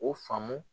O faamu